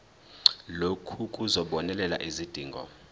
lokhu kuzobonelela izidingo